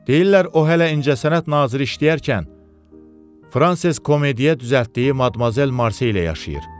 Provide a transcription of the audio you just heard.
Deyirlər o hələ incəsənət naziri işləyərkən Fransız Komediyası ilə düzəltdiyi Madmazel Marse ilə yaşayır.